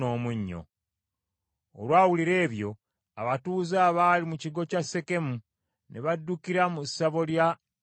Olwawulira ebyo, abatuuze abaali mu kigo kya Sekemu, ne baddukira mu ssabo lya Eruberisi.